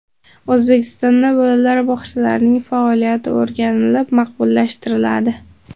O‘zbekistonda bolalar bog‘chalarining faoliyati o‘rganilib, maqbullashtiriladi.